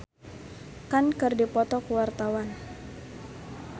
Titi Kamal jeung Amir Khan keur dipoto ku wartawan